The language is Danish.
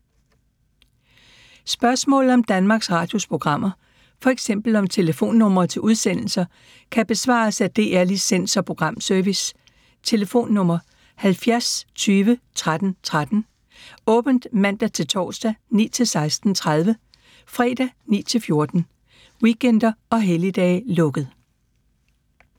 Spørgsmål om Danmarks Radios programmer, f.eks. om telefonnumre til udsendelser, kan besvares af DR Licens- og Programservice: tlf. 70 20 13 13, åbent mandag-torsdag 9.00-16.30, fredag 9.00-14.00, weekender og helligdage: lukket.